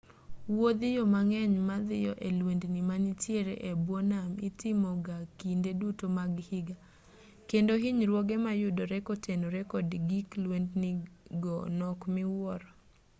wuodhiyo mang'eny madhiyo e lwendni manitiere e bwo nam itimoga kinde duto mag higa kendo hinyruoge mayudore kotenore kod gig lwendni go nok miwuoro